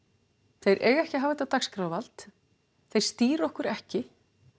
þeir eiga ekki að hafa þetta dagskrávald þeir stýra okkur ekki